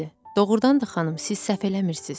Doğrudan da xanım, siz səhv eləmirsiniz.